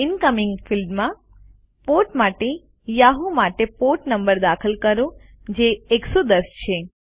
incoming ફિલ્ડમાં port માટે Yahoo માટે પોર્ટ નંબર દાખલ કરો જે 110 છે